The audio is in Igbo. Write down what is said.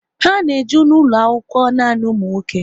Ha na eje n'ulo akwụkwọ nanị ụmụ nwoke